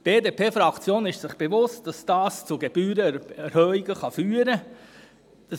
Die BDP-Fraktion ist sich bewusst, dass dies zu Gebührenerhöhungen führen kann.